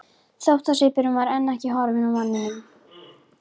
Þóttasvipurinn var enn ekki horfinn af varðmanninum.